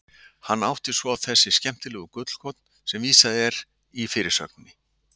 Hún átti svo þessi skemmtilegu gullkorn sem vísað er í fyrirsögninni.